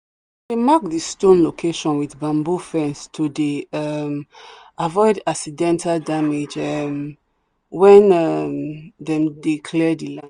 some dey mark the stone location with bamboo fence to dey um avoid accidental damage um when um them dey clear the land.